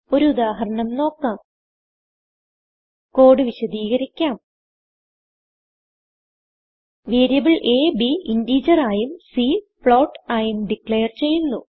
ഒരു ഉദാഹരണം നോക്കാം കോഡ് വിശദികരിക്കാം വേരിയബിൾ അ b integerആയും c ഫ്ലോട്ട് ആയും ഡിക്ലേർ ചെയ്യുന്നു